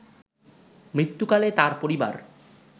মৃত্যুকালে তার পরিবার